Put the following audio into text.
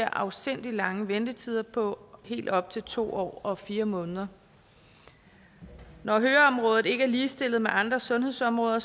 afsindig lange ventetider på helt op til to år og fire måneder når høreområdet ikke er ligestillet med andre sundhedsområder